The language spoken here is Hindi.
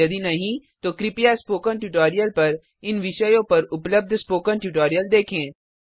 यदि नहीं तो कृपया स्पोकन ट्यूटोरियल पर इन विषयों पर उपलब्ध स्पोकन ट्यूटोरियल देखें